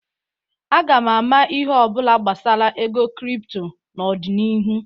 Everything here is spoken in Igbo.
Aga m ama ihe ọ bụla gbasara ego kripto n'ọdịnihu.